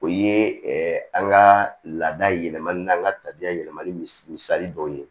O ye an ka laada yɛlɛmali n'an ka tabiya yɛlɛmani m misali dɔw ye